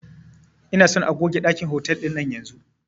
Ina son a goge ɗakin hotal ɗinan yanzun